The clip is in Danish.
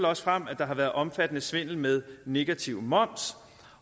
også frem at der har været omfattende svindel med negativ moms